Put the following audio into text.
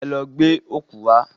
Ẹ lọ gbẹ́ ọ̀kú wá!